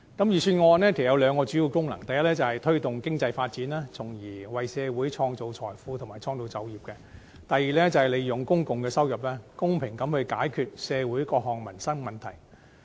預算案有兩項主要功能，第一是推動經濟發展，從而為社會創造財富和創造就業；第二是利用公共收入，公平地解決社會各項民生問題。